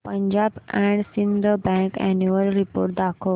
Punjab and Sindh bank annual report दाखव